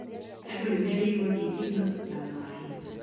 Andũ nĩmerĩirwo thitima na maĩ